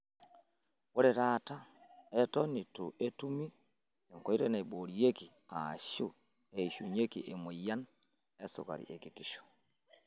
Ore taata, eton eitu etumi enkoitoi naiboorieki aashu eshikieki emoyian esukari ekitisho.